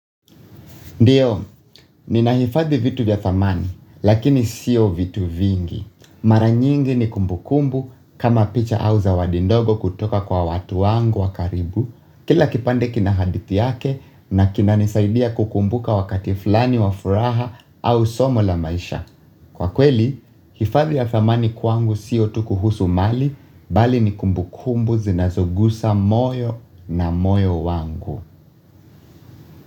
Ndiyo, nina hifadhi vitu vya thamani, lakini siyo vitu vingi. Mara nyingi ni kumbukumbu kama picha au zawadi ndogo kutoka kwa watu wangu wa karibu. Kila kipande kina hadithi yake na kinanisaidia kukumbuka wakati fulani wa furaha au somo la maisha. Kwa kweli, hifadhi ya thamani kwangu siyo tu kuhusu mali, bali ni kumbukumbu zinazogusa moyo na moyo wangu.